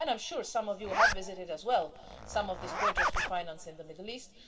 I'm sure some of you have visited as well some of these projects we finance in the Middle East.